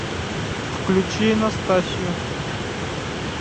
включи настасью